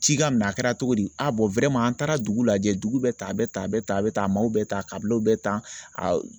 Ci ka minɛ a kɛra cogo di an taara dugu lajɛ dugu bɛ tan a bɛ tan a bɛ tan a bɛ tan o bɛ tan kaw bɛ tan a